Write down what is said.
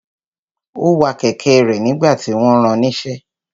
Ó wa kẹ̀kẹ́ rẹ̀ nígbà tí wọ́n ran níṣẹ́.